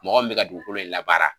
Mɔgɔ min bɛ ka dugukolo in labaara